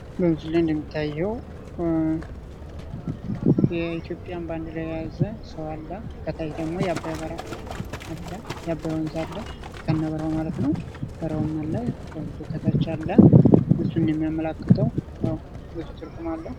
በምስሉ ላይ እንደሚታየው የኢትዮጵያን ባንዲራ የያዘ ሰው አለ ከታች ደግሞ የአባይ በረሃ አለ፤ የአባይ ወንዝ አለ ከነ በረሃው ማለት ነው። በረሃዉም አለ ወንዙ ከታች አለ እሱም የሚያመላክተው ብዙ ትርጉም አለው።